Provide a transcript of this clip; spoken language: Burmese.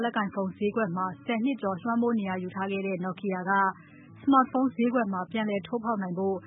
လက်ကိုင်ဖုန်းဈေးကွက်မှာ တချိန်ကလွှမ်းမိုးနေရာယူနိုင်ခဲ့တဲ့ Nokia က လက်ရှိ Smartphone ဈေးကွက်ထဲမှာ ပြန်လည်ထိုးဖောက်နိုင်ဖို့